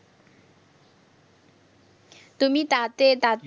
তুমি তাতে তাত